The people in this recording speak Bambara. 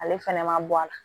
Ale fɛnɛ ma bɔ a la